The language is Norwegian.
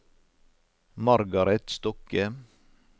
Margareth Stokke